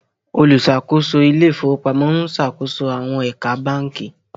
oluṣakoso Ilé ìfowópamọ́ n ṣàkóso àwọn ẹ̀ka bánkì